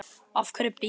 Af hverju beikon?